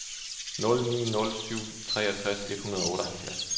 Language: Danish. nul ni nul syv treogtres et hundrede og otteoghalvfjerds